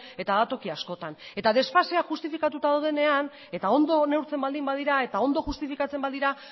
eta da toki askotan eta desfasea justifikatuta dagoenean eta ondo neurtzen baldin badira eta ondo justifikatzen badira